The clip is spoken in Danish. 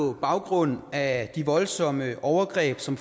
på baggrund af de voldsomme overgreb som